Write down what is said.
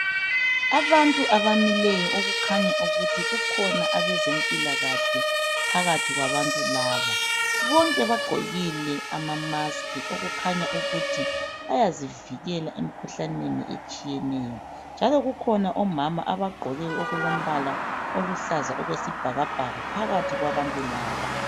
abantu abamileyo okukhanya ukuthi kukhona abezempilakahle phakathi kwabantu laba bonke bagqokile ama mask okukhanyayo ukuthi bayazivikela emikhuhlaneni etshiyeneyo njalo kukhona omama abagqoke okulompala oluhlaza okwesibhakabhaka phakathi kwabantu laba